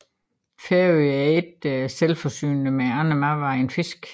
Færøerne er ikke selvforsynende med andre madvarer end fisk